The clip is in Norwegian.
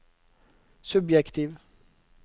subjektiv